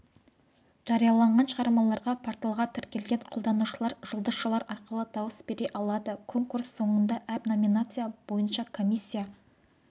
жарияланған шығармаларға порталға тіркелген қолданушылар жұлдызшалар арқылы дауыс бере алады конкурс соңында әр номинация бойыншакомиссия